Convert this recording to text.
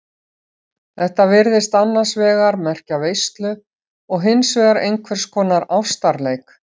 Þetta virðist annars vegar merkja veislu og hins vegar einhvers konar ástarleik.